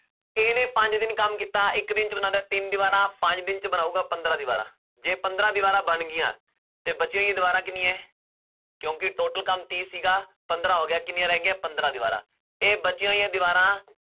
ਇਹਨੇ ਪੰਜ ਦਿਨ ਕੰਮ ਕੀਤਾ ਇੱਕ ਦਿਨ 'ਚ ਬਣਾਉਂਦਾ ਹੈ ਤਿੰਨ ਦੀਵਾਰਾਂ ਪੰਜ ਦਿਨ 'ਚ ਬਣਾਊਗਾ ਪੰਦਰਾਂ ਦੀਵਾਰਾਂ ਜੇ ਪੰਦਰਾਂ ਦੀਵਾਰਾਂ ਬਣ ਗਈਆਂ ਤੇ ਬਚੀਆਂ ਹੋਈਆਂ ਦੀਵਾਰਾਂ ਕਿੰਨੀਆਂ ਹੈ ਕਿਉਂਕਿ total ਕੰਮ ਤੀਹ ਸੀਗਾ ਪੰਦਰਾਂ ਹੋ ਗਿਆ, ਕਿੰਨੀਆਂ ਰਹਿ ਗਈਆਂ ਪੰਦਰਾਂ ਦੀਵਾਰਾਂ ਇਹ ਬਚੀਆਂ ਹੋਈਆਂ ਦੀਵਾਰਾਂ